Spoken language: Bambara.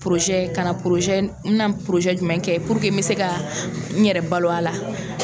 ka na n mɛna jumɛn kɛ puruke n bɛ se ka n yɛrɛ balo a la.